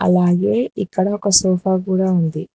అలాగే ఇక్కడ ఒక సోఫా కూడా ఉంది.